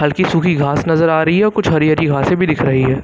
सुखी सुखी घास नजर आ रही है कुछ हरी हरी घासे भी दिख रही है।